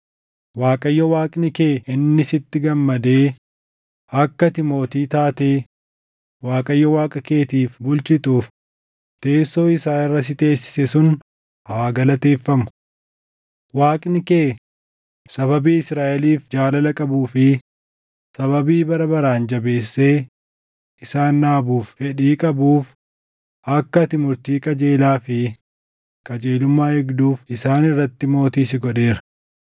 Waaqayyo Waaqni kee inni sitti gammadee akka ati mootii taatee Waaqayyo Waaqa keetiif bulchituuf teessoo isaa irra si teessise sun haa galateeffamu. Waaqni kee sababii Israaʼeliif jaalala qabuu fi sababii bara baraan jabeessee isaan dhaabuuf fedhii qabuuf akka ati murtii qajeelaa fi qajeelummaa eegduuf isaan irratti mootii si godheera.”